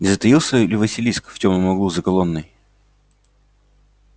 не затаился ли василиск в тёмном углу за колонной